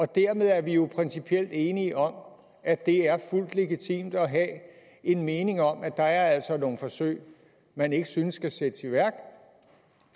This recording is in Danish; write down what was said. dermed er vi jo principielt enige om at det er fuldt legitimt at have en mening om at der altså er nogle forsøg man ikke synes skal sættes i værk